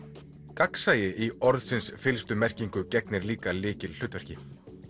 gagnsæi í orðsins fyllstu merkingu gegnir líka lykilhlutverki